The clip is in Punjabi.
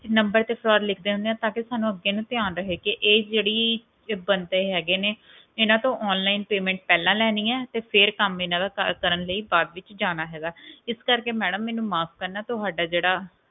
number ਤੇ fraud ਲਿਖ ਦਿੰਦੇ ਆ ਤਾਂਕਿ ਅੱਗੇ ਨੂੰ ਸਾਨੂੰ ਯਾਦ ਰਹੇ ਕਿ ਇਹ ਜਿਹੜੇ ਬੰਦੇ ਹਿਗੇ ਨੇ ਇਹਨਾ ਤੋਂ onlinepayment ਪਹਿਲਾਂ ਲੈਣੀ ਏ ਤੇ ਬਾਅਦ ਵਿਚ ਕੰਮ ਕਰਨ ਲੈ ਜਾਂ ਹੈ ਇਸ ਕਰਕੇ ਮੈਡਮ ਮੈਨੂੰ ਮਾਫ ਕਰਨਾ ਤੁਹਾਡਾ ਜਿਹੜਾ